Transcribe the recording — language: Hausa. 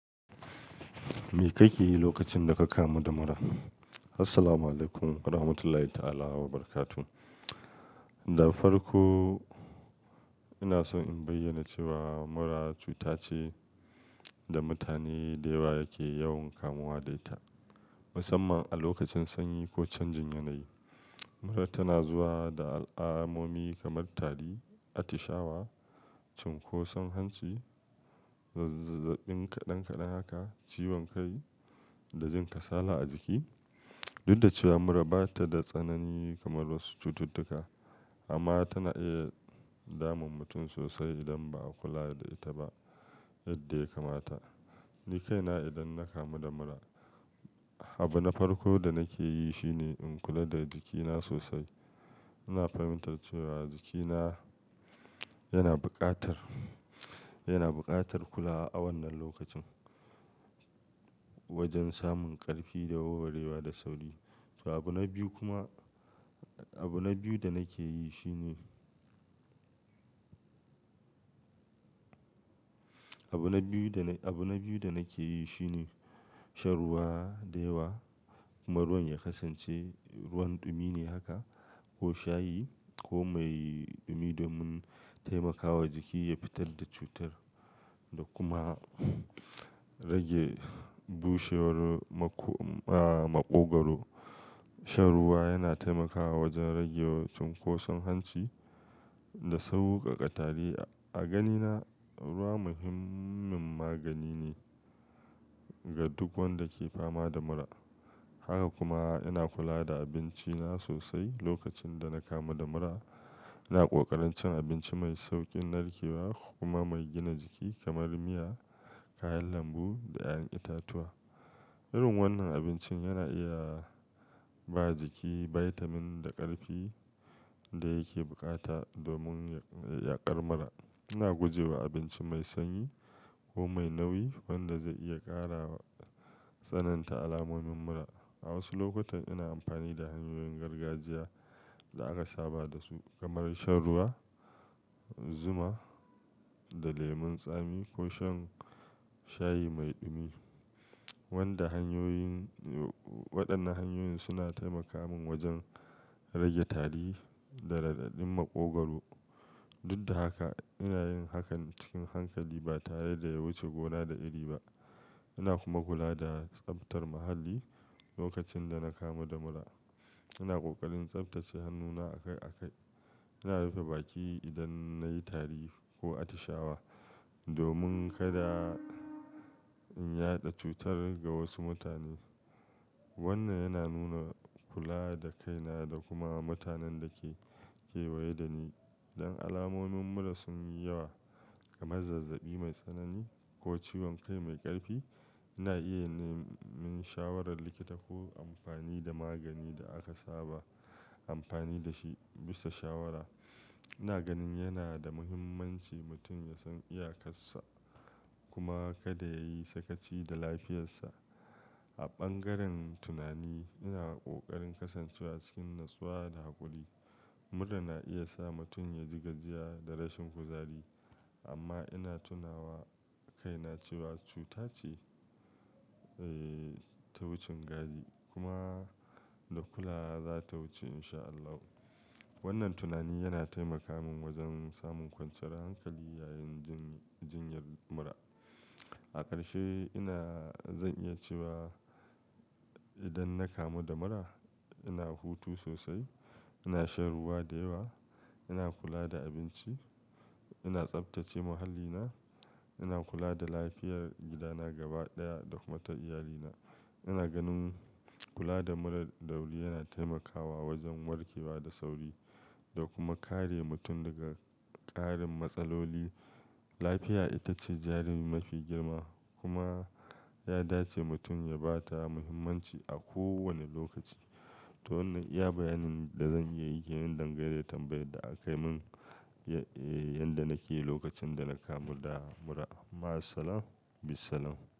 Me kake yi lokacin da ka kamu da mura? Assalamualaikum warahmatullahi ta'ala wabarakatuh. Da farko, ina so in bayyana cewa mura cuta ce da mutane da yawa yake yawan kamuwa da ita, musamman a lokacin sanyi ko canjin yanayi. Mura tana zuwa da alamomi kamar tari, atishawa, cunkoson hanci, zazzabi kaɗan-kaɗan haka, ciwon kai da jin kasala a jiki. Dud da cewa mura ba ta da tsanani kamar wasu cututtuka, amma tana iya damun mutum sosai idan ba a kula da ita ba yadda ya kamata. Ni kaina idan na kamu da mura, abu na farko da nake yi shine in kula da jikina sosai. Ina fahimtar cewa jikina yana buƙatar, yana buƙatar kulawa a wannan lokacin wajen samun ƙarfi da warwarewa da sauri. To, abu na biyu kuma, abu na biyu da nake yi shine, abu na biyu da, abu na biyu da nake yi shine shan ruwa da yawa. Kuma ruwan ya kasance ruwan dumi ne haka ko shayi ko mai dumi domin taimakawa jiki ya fitar da cutar da kuma rage bushewar maƙo-- ah, maƙogwaro. Shan ruwa yana taimakawa wajen rage cunkoson hanci da sauƙaƙa tari. A ganina, ruwa muhimmin magani ne ga duk wanda ke fama da mura. Haka kuma ina kula da abinci na sosai lokacin da na kamu da mura. Ina ƙoƙarin cin abinci mai sauƙin narkewa kuma mai gina jiki kamar miya, kayan lambu da ƴaƴan itatuwa. Irim wannan abincin yana iya ba jiki bitamin da ƙarfi da yake bukata domin ya ƙar mura. Ina guje wa abinci mai sanyi ko mai nauyi wanda zai iya ƙarawa tsananta alamomin mura. A wasu lokutan ina amfani da hanyoyin gargajiya da aka saba da su kamar shan ruwa, zuma da lemon tsami ko shan shayi mai dumi. Wanda hanyoyin, waɗannan hanyoyin suna taimaka min wajen rage tari da raɗaɗin maƙogwaro. Dud da haka, ina yin hakan cikin hankali ba tare da ya wuce gona da iri ba. Ina kuma kula da tsaftar muhalli lokacin da na kamu da mura. Ina ƙoƙarin tsaftace hannuna a kai a kai. Ina rufe baki idan na yi tari ko atishawa domin kada in yaɗa cutar ga wasu mutane. Wannan yana nuna kula da kaina da kuma mutanen da ke kewaye da ni. Idan alamomin mura sun yi yawa kamar zazzabi mai tsanani ko ciwon kai mai ƙarfi, ina iya neman shawarar likita ko amfani da magani da aka saba amfani da shi bisa shawara. Ina ganin yana da muhimmanci mutum ya san iyakarsa kuma kada yayi sakaci da lafiyarsa. A bangaren tunani, ina ƙoƙarin kasancewa cikin natsuwa da haƙuri. Mura na iya sa mutum ya ji gajiya da rashin kuzari, amma ina tunawa kaina cewa cuta ce, eh, ta wucin gadi kuma da kula za ta wuce insha Allah. Wannan tunani yana taimaka min wajen samun kwanciyar hankali yayin jinyar mura. A ƙarshe ina zan iya cewa idan na kamu da mura, ina hutu sosai, ina shan ruwa da yawa, ina kula da abinci, ina tsaftace muhallina, ina kula da lafiyar gidana gaba ɗaya da kuma ta iyalina. Ina ganin kula da mura dawuri yana taimakawa wajen warke wa da sauri da kuma kare mutum daga ƙarin matsaloli. Lafiya ita ce jarin mafi girma kuma ya dace mutum ya ba ta muhimmanci a kowane lokaci. To wannan iya bayanin da zan iya yi kenan dangane da tambayad da akai min, eh, yadda nake yi lokacin da na kamu da mura. Ma'assalam, bissalam.